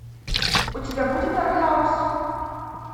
у тебя будет артхаус